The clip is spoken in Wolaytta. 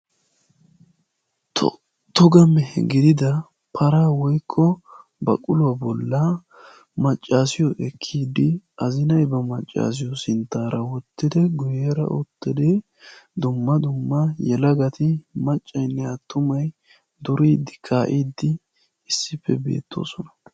To toga mehe gidida paraa woykko baquluwa bollaa maccaasiyo ekkiiddi azinay ba maccaasiyo sinttaara wottidi guyyeera uttidi dumma dumma yelagati maccaynne attumay duriiddi kaa'iiddi issippe beettoosona.